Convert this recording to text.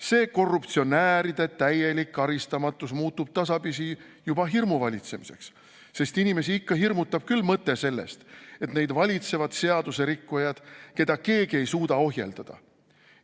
See korruptsionääride täielik karistamatus muutub tasapisi juba hirmuvalitsemiseks, sest inimesi ikka hirmutab küll mõte sellest, et neid valitsevad seaduserikkujad, keda keegi ei suuda ohjeldada.